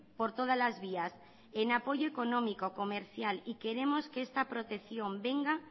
por todas las vías en apoyo económico comercial y queremos que esta protección venga